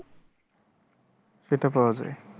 সেটা পাওয়া যাই।